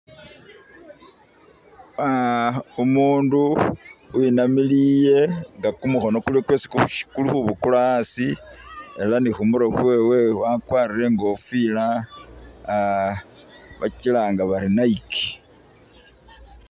Uh umundu we namiliye, nga kumukhono kuliwo kwesi kulikhubukula asi ela ne khumurwe khwewe wakwarire ingofila uh bakilanga bari Nike.